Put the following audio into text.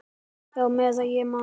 Já, meðan ég man.